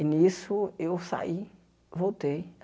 E, nisso, eu saí, voltei.